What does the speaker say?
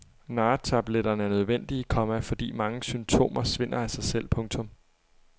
Narretabletterne er nødvendige, komma fordi mange symptomer svinder af sig selv. punktum